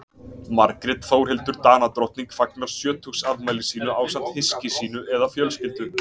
margrét þórhildur danadrottning fagnar sjötugsafmæli sínu ásamt hyski sínu eða fjölskyldu